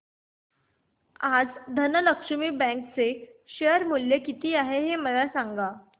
आज धनलक्ष्मी बँक चे शेअर चे मूल्य किती आहे मला सांगा